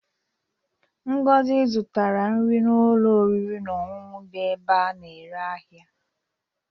Ngozi zụtara nri n'ụlọ oriri na ọṅụṅụ dị n'ebe a na-ere ahịa.